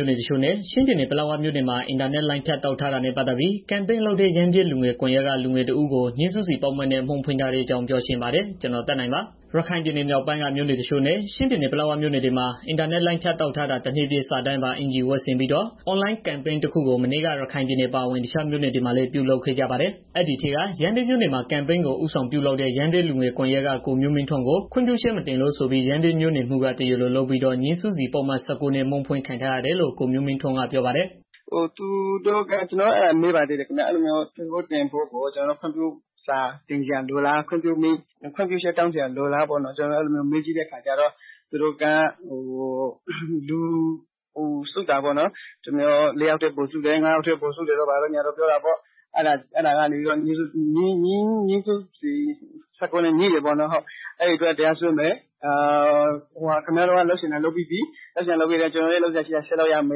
ို့နယ်တချို့နဲ့ ချင်းပြည်နယ် ပလက်ဝမြို့တွေမှာ အင်တာနက်လိုင်းဖြတ်တောက်ထားတာနဲ့ ပတ်သတ်ပြီး အင်တာနက်အွန်လိုင်းပေါ်ကနေ ဦးဆောင်ကန့်ကွက်သူ ရမ်းဗြဲ လူငယ်ကွန်ယက်က လူငယ်တစ်ဦးကို ငြိမ်းစုစီပုဒ်မနဲ့ အမှုဖွင့်ထားတဲ့ အကြောင်းပြောချင်ပါတယ်။ ဗွီအိုအေ မြန်မာပိုင်းသတင်းထောက် ကိုသက်နိုင်က သတင်းပေးပို့ပေးထားပါတယ်။ ရခိုင်ပြည်နယ်မြောက်ပိုင်းက မြို့နယ်တချို့နဲ့ ချင်းပြည်နယ် ပလက်ဝမြို့တွေမှာ အင်တာနက်လိုင်းဖြတ်တောက်ထားတာ တစ်နှစ်ပြည့်အနေနဲ့ စာတန်းပါ အင်္ကျီဝတ်ဆင်ပြီးတော့ အွန်လိုင်းကမ်ပိန်းတစ်ခုကို မနေ့က ရခိုင်ပြည်နယ်အပါဝင် တခြားမြို့နယ်တွေမှာလည်း ပြုလုပ်ခဲ့ကြပါတယ်။ အဲဒီထဲက ရမ်းဗြဲမြို့နယ်မှာ ကမ်ပိန်းကို ဦးဆောင်ပြုလုပ်တဲ့ ရမ်းဗြဲလူငယ်ကွန်ယက် ကိုမျိုးမင်းထွန်းကို ခွင့်ပြုချက်မတင်လို့ဆိုပြီး ရမ်းဗြဲမြို့နယ်မှူးက တရားလိုလုပ်ပြီးတော့ ငြိမ်းစုစီပုဒ်မ ၁၉နဲ့ အမှုဖွင့်ခံထားရတယ်လို့ ကိုမျိုးမင်းထွန်းက ပြောပါတယ်။ "ကျနော်တို့က မေးပါသေးတယ်။ ပိုစ့်တင်တာကို ခွင့်ပြုမိန့်လိုလားလို့ မေးကြည့်တဲ့အခါကျတော့ သူတို့က လူစုတာပေါ့နော်။ ၄ ယောက်ထက် ပိုစုတယ်၊ ၅ ယောက်ထက် ပိုစုတယ်တို့ ဘာတို့ညာတို့ ပြောတာပေါ့။ အဲတာက ငြိမ်းစုစီ ၁၉ နဲ့ ညှိတာပေါ့နော်။ အဲဒါအတွက်တရားစွဲမယ်၊ ခင်ဗျာတို့က လုပ်ချင်တာ လုပ်ပြီးသွားပြီ၊ ကျနော်တို့လည်း လုပ်စရာရှိတာ ဆက်လုပ်ရမ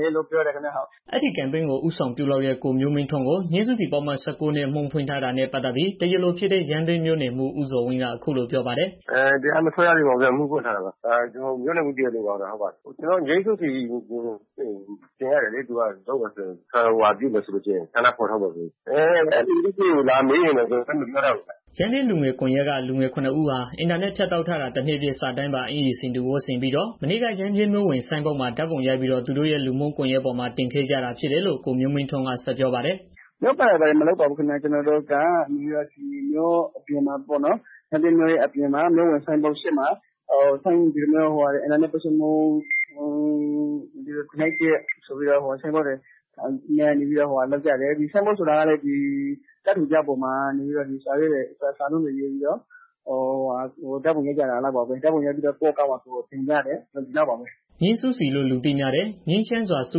ယ်ဆိုပြီးတော့ ပြောတယ်။" အဲဒီကမ်ပိန်းကို ဦးဆောင်ပြုလုပ်တဲ့ ကိုမျိုးမင်းထွန်းကို ငြိမ်းစုစီပုဒ်မ ၁၉ နဲ့ အမှုဖွင့်ထားတာနဲ့ ပတ်သတ်ပြီး တရားလိုဖြစ်တဲ့ ရမ်းဗြဲမြို့နယ်မှူး ဦးဇော်ဝင်းက အခုလိုပြောပါတယ်။ "တရားမစွဲရသေးဘူး ခင်ဗျာ။ အမှုဖွင့်ထားတာပါခင်ဗျာ။ ကျနော်တို့ ဆန္ဒဖော်ထုတ်မယ်ဆိုရင် ငြိမ်းစုစီတင်ရတယ်လေ။ အဲဖြစ်စဉ်ကို လာမေးရင် ကျနော်တို့လည်း မပြောတတ်ဘူးခင်ဗျာ။" ရမ်းဗြဲလူငယ်မျိုးဆက်သစ်ကွန်ယက်က လူငယ် ၇ ဦးဟာ အင်တာနက်ဖြတ်တောက်ထားတာ တစ်နှစ်ပြည့် စာတန်းပါ အင်္ကျီဆင်တူဝတ်ဆင်ပြီးတော့ မနေ့က ရမ်းဗြဲမြို့ဝင် ဆိုင်းပုဒ်မှာ ဓာတ်ပုံရိုက်ပြီးတော့ သူတို့ရဲ့ လူမှုကွန်ယက်ပေါ်မှာ တင်ခဲ့ကြတာဖြစ်တယ်လို့ ကိုမျိုးမင်းထွန်းက ဆက်ပြောပါတယ်။ "မြို့ပတ်တာတွေ ဘာတွေမလုပ်ပါဘူး ခင်ဗျာ။ ကျနော်တို့က မြို့ပြင်မှာပေါနော်။ မြို့ဝင်ဆိုင်ပုဒ်ရှေ့မှာ အင်တာနက် ပိတ်ဆို့မှု တစ်နှစ်ပြည့်ဆိုပြီးတော့ ဆိုင်းပုဒ်တွေ ကိုင်ပြီးတော့ ဆိုင်းပုဒ်ဆိုတာကလည်း ကပ်ထူပြားပေါ်မှာ စာရေးပြီးတော့ ဓာတ်ပုံရိုက်ပြီးတော့ ကိုယ့် အကောင့်မှာ ကိုယ်တင်ကြတယ် ဒီလောက်ပါပဲ။ " ငြိမ်းစုစီလို့ လူသိများတဲ့ ငြိမ်းချမ်းစွာ စု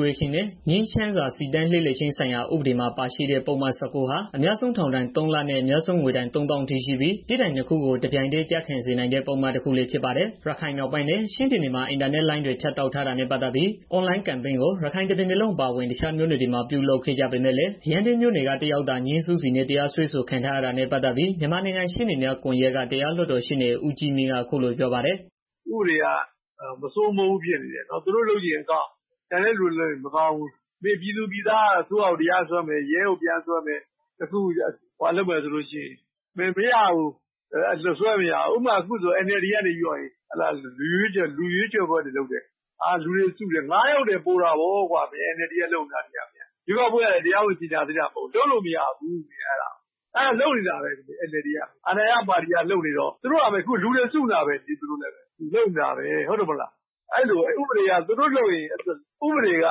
ဝေးခြင်းနဲ့ ငြိမ်းချမ်းစွာ စီတန်းလှည့်လည်ခြင်း ဆိုင်ရာ ဥပဒေမှာ ပါရှိတဲ့ ပုဒ်မ ၁၉ဟာ အများဆုံး ထောင်ဒဏ် ၃ လနဲ့ အများဆုံး ငွေဒဏ် ၃၀,၀၀၀ အထိရှိပြီး ပြစ်ဒဏ်နှစ်ခုကို တပြိုင်တည်းကျခံစေနိုင်တဲ့ ပုဒ်မ တစ်ခုလည်းဖြစ်ပါတယ်။ ရခိုင်မြောက်ပိုင်းနဲ့ ချင်းပြည်နယ်မှာ အင်တာနက်လိုင်းဖြတ်တောက်ထားတာနဲ့ ပတ်သတ်ပြီး အွန်လိုင်းကမ်ပိန်းကို ရခိုင်တစ်ပြည်နယ်လုံး အပါအဝင် တခြားမြို့နယ်တွေမှာ ပြုလုပ်ကြပေမယ့်လည်း ရမ်းဗြဲမြို့နယ်က တစ်ယောက်သာ ငြိမ်းစုစီနဲ့ တရားစွဲဆိုခံရတာနဲ့ ပတ်သတ်ပြီး မြန်မာနိုင်ငံ ရှေ့နေများကွန်ယှက်က တရားလွှတ်တော် ရှေ့နေ ဦးကြီးမြင့် က အခုလို ပြောပါတယ်။ "ဥပဒေက မစိုးမိုးဘူးဖြစ်နေတယ်။ သူတို့လုပ်ချင်ရင် အကောင်း၊ ကျန်တဲ့ သူတွေလုပ်ရင်မကောင်းဘူး။ ပြည်သူတွေက အစိုးရကို တရားစွဲမယ်၊ ရဲကို တရားစွဲမယ်ဆိုရင် မရဘူး။ ဥပမာ အခု NLD က လူရွေးချယ်ပွဲတွေ လုပ်တယ်။ လူတွေစုတယ် ၅ ယောက်ထက် ပိုတာပေါ့ကွာ ရွေးကောက်ပွဲကလည်း တရားဝင်ကြေငြာသေးတာ မဟုတ်ဘူး။ လုပ်လို့မရဘူး.... အဲဒါ လုပ်နေတာပဲ NLD က အခုလူတွေ စုနေတာပဲ။ အဲဒါပဲ ဥပဒေက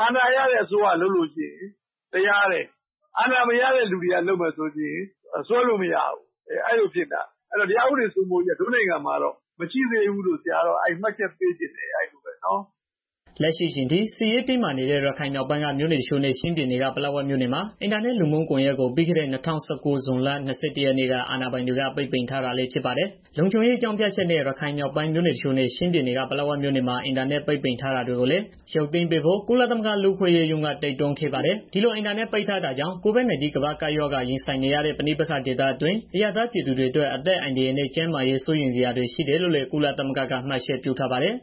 အာဏာရတဲ့ အစိုးရလုပ် လို့ရှိရင် တရားတယ်။ အာဏာမရတဲ့ လူတွေကစွဲလို့မရဘူး။ အဲလိုဖြစ်နေတာ အဲတော့ တရားဥပဒေစိုးမိုးရေးက တို့နိုင်ငံမှာတော့ မရှိသေးဘူးလို့ မှတ်ချက်ပေးချင်တယ်။" လက်ရှိအချိန်ထိ စစ်ရေးတင်းမာနေတဲ့ ရခိုင်မြောက်ပိုင်းက မြို့နယ် တချို့နဲ့ ချင်းပြည်နယ်က ပလက်ဝမြို့ နယ်မှာ အင်တာနက်လူမှုကွန်ယက်ကို ပြီးခဲ့တဲ့ ၂၁၀၉ ဇွန်လ ၂၁ရက်နေ့က အာဏာပိုင်တွေက ပိတ်ပင်ထား တာလည်း ဖြစ်ပါတယ်။ လုံခြုံရေးအကြောင်းပြချက်နဲ့ ရခိုင်မြောက်ပိုင်းမြို့နယ်အချို့နဲ့ ချင်းပြည်နယ်က ပလက်ဝမြို့နယ်မှာ အင်တာနက်ပိတ်ပင်ထားတာတွေကိုလည်း ရုပ်သိမ်းဖို့ ကုလသမဂ္ဂ လူ့အခွင့်အရေးရုံးက တိုက်တွန်းခဲ့ပါတယ်။ ဒီလိုအင်တာနက်ပိတ်တာကြောင့် COVID-19 ကမ္ဘာ့ကပ်ရောဂါ ရင်ဆိုင်နေရတဲ့ ပဋိပက္ခ ဒေသတွင်းအရပ်သားပြည်သူတွေအတွက် အသက်အန္တရာယ်နဲ့ ကျန်းမာရေးစိုးရိမ်စရာတွေ ရှိတယ်လို့လည်း ကုလသမဂ္ဂက မှတ်ချက်ပြုထားပါတယ်။